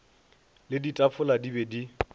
le ditafola di be di